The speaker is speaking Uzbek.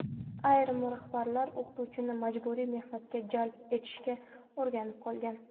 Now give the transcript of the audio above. Ayrim rahbarlar o‘qituvchini majburiy mehnatga jalb etishga o‘rganib qolgan.